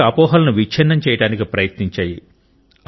అనేక అపోహలను విచ్ఛిన్నం చేయడానికి ప్రయత్నించాయి